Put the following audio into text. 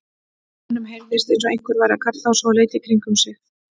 Honum heyrðist eins og einhver væri að kalla á sig og leit í kringum sig.